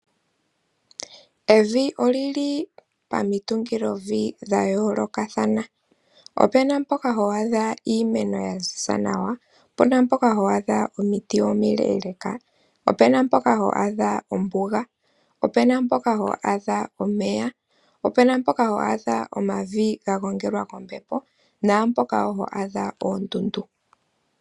Evi olili pomitungilovi dha yoolokathana. Opena mpoka ho adha iimeno ya ziza nawa, opena mpoka ho adha omiti omile, opena mpoka ho adha ombuga, opena mpoka ho adha omeya ,opena mpoka ho adha omavi ga gongelwa kombepo ,naampoka woo ho adha oondundu.